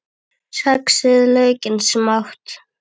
Saxið laukinn smátt.